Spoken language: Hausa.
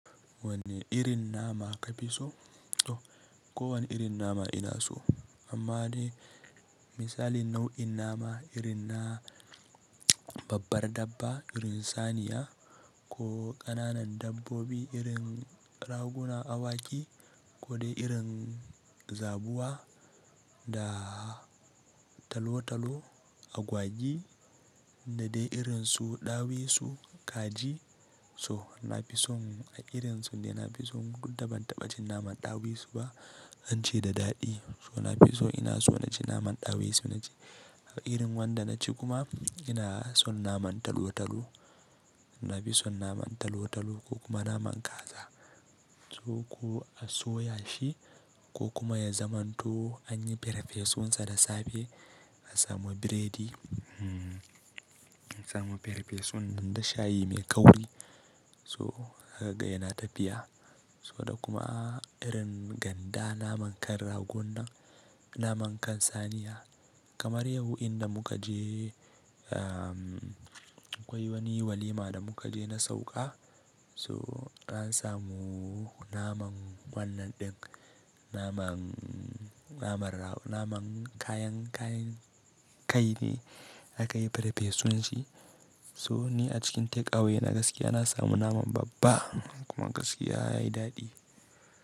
Wanne irin nama ka fi so? Ko wanne irin nama ina so. Amma dai misali nau'in nama irin na babbar dabba, irin saniya ko ƙananan dabbobi, irin raguna, awaki ko dai irin zabuwa da talo-talo, agwagi da dai irin su ɗawisu, kaji. So na fi son a irin su dai na fi so duk da ban taɓa cin naman ɗawisu ba, an ce da daɗi. So na fi so ina so na ci naman ɗawisu na ji. A irin wanda na ci kuma ina son naman talo-talo. Na fi son naman talo-talo ko kuma naman kaza. Ko a soya shi ko kuma ya zamanto anyi farfesun sa da safe a samu biredi, a samu farfesun nan da shayi mai kauri. So haka yana tafiya. So da kuma irin ganda naman kan ragon nan, naman kan saniya. Kamar yau inda muka je, akwai wani walima da muka je na sauƙa. So an samu naman wannan ɗin, naman, naman kayan, kayan kai ne aka yi farfesun shi. So ni a cikin takeaway na gaskiya na samu naman babba kuma gaskiya yayi daɗi.